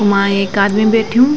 वां ऐक आदमी बैठ्युं।